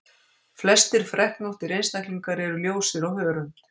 Flestir freknóttir einstaklingar eru ljósir á hörund.